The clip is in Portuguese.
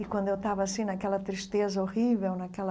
E quando eu estava assim, naquela tristeza horrível, naquela...